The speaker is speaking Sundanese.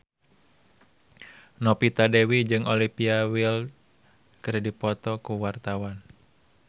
Novita Dewi jeung Olivia Wilde keur dipoto ku wartawan